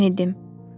Mən idim.